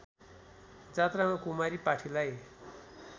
जात्रामा कुमारी पाठीलाई